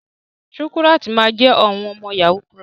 Shukurat ma jẹ ọmọ yahoo plus.